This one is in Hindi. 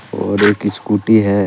और एक स्कूटी है।